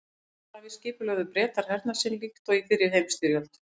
Á Atlantshafi skipulögðu Bretar hernað sinn líkt og í fyrri heimsstyrjöld.